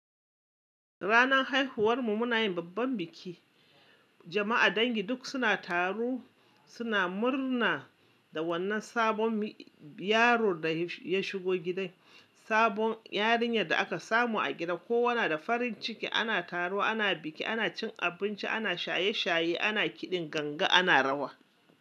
Ranan haihuwar mu muna yin babban biki. Jama'a dangi duk suna taro, suna murna da wannan sabon yaron da ya shigo gidan, sabon yarinya da aka samu a gida. Ko wa nada da farin ciki ana taro, ana biki, ana cin abinci, ana shaye-shaye, ana kiɗin ganga, ana rawa.